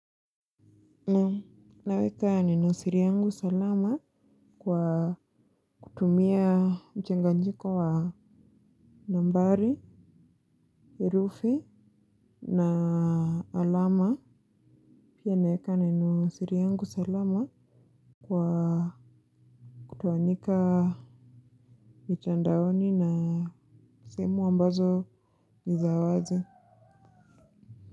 Naweka neno siri yangu salama kwa kutumia mchanganyiko wa nambari, herufi na alama. Pia naweka neno siri yangu salama kwa kutoanika mitandaoni na sehemu ambazo ni za wazi.